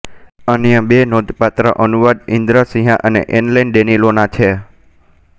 અન્ય બે નોંધપાત્ર અનુવાદ ઈન્દ્ર સિંહા અને એલેઈન ડેનીલો ના છે